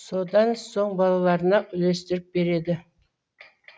содан соң балаларына үлестіріп береді